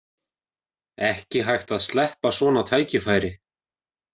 Ekki hægt að sleppa svona tækifæri